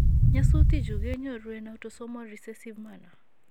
Nyasutichu kenyoru en autosomal recessive manner